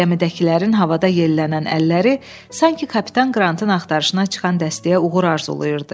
Gəmidəkilərin havada yellənən əlləri sanki kapitan Qrantın axtarışına çıxan dəstəyə uğur arzulayırdı.